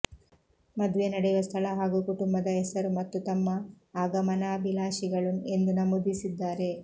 ಮದುವೆ ನಡೆಯುವ ಸ್ಥಳ ಹಾಗೂ ಕುಟುಂಬದ ಹೆಸರು ಮತ್ತು ತಮ್ಮ ಆಗಮನಾಭಿಲಾಷಿಗಳು ಎಂದು ನಮೂದಿಸಿದ್ದಾರೆ